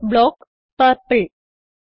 f block - purple